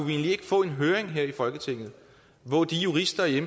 vi ikke få en høring her i folketinget hvor de jurister i